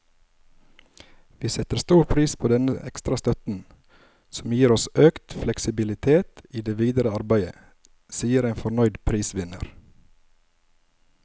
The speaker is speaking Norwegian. Vi setter stor pris på denne ekstra støtten, som gir oss økt fleksibilitet i det videre arbeidet, sier en fornøyd prisvinner.